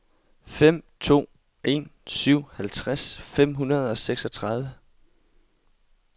fem to en syv halvtreds fem hundrede og seksogtredive